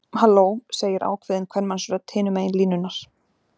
Halló, segir ákveðin kvenmannsrödd hinum megin línunnar.